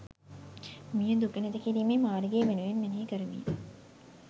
මෙය දුක නැති කිරීමේ මාර්ගය යනුවෙන් මෙනෙහි කරමින්